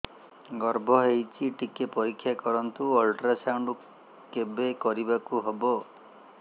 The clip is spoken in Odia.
ଗର୍ଭ ହେଇଚି ଟିକେ ପରିକ୍ଷା କରନ୍ତୁ ଅଲଟ୍ରାସାଉଣ୍ଡ କେବେ କରିବାକୁ ହବ